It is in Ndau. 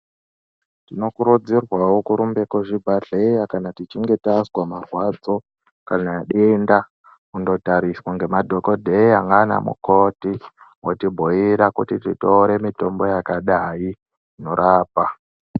Tinokurudzirwawo kurumbe kuzvibhedhleya kana tichinge tazwa marwadzo kana denda kundotariswa ngemadhokodheya naana mukoti otibhuira kuti tinotore mitombo yakadai torapwa.